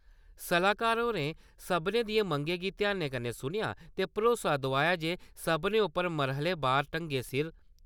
सलाहकार होरें सभनें दियें मंगें गी ध्यानै नै सुनेआ ते भरोसा दोआया जे सभनें उप्पर मरह्ले बार ढंगै सिर